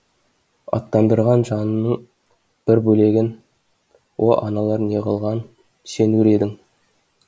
аттандырған жанының бір бөлегін о аналар неғылған сен өр едің